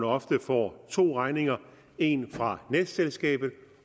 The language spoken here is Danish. ofte får to regninger en fra netselskabet